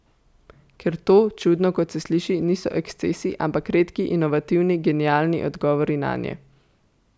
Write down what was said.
Ker to, čudno, kot se sliši, niso ekscesi, ampak redki, inovativni, genialni odgovori nanje.